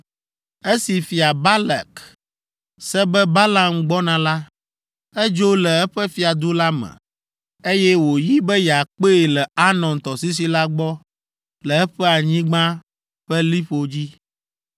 Esi Fia Balak se be Balaam gbɔna la, edzo le eƒe fiadu la me, eye wòyi be yeakpee le Arnon tɔsisi la gbɔ le eƒe anyigba ƒe liƒo dzi.